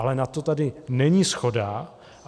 Ale na to tady není shoda.